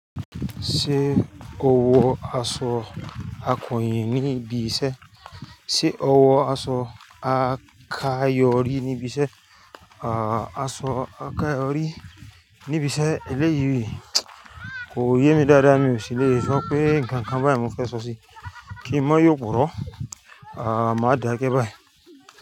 Ṣé o wọ aṣọ akọ̀yìn níbi iṣẹ́? Ṣé o wọ aṣọ akayori níbi iṣẹ́? Aṣọ àkayòrí níbi iṣẹ́ eléyìí kò yé mi dáadáa, mi ò sì le sọ pé ǹnkan kan báyìí mo fẹ́ sọ sí i. Kí n mó yò pọ̀rọ́, a máa dáa gẹ́ báyìí.